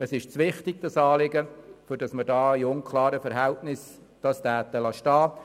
Das Anliegen ist zu wichtig, als dass wir es bei unklaren Verhältnissen belassen.